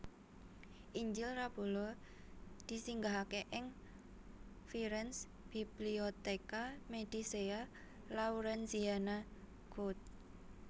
Injil Rabbula disinggahaké ing Firenze Biblioteca Medicea Laurenziana cod